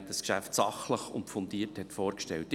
Er hat das Geschäft sachlich und fundiert vorgestellt.